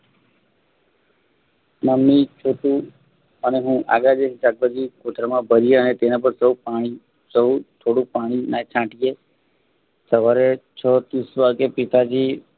mummy Chhotu અને હું આગળ બેસી શાકભાજી કોથળામાં ભર્યા અને તેના પર થોડું પાણી સરું થોડું પાણી ના છાંટી એ સવારે છ ત્રીસ વાગે પિતાજી